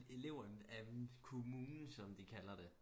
Elever af kommunen som de kalder det